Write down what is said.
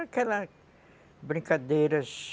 Aquelas brincadeiras.